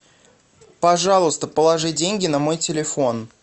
пожалуйста положи деньги на мой телефон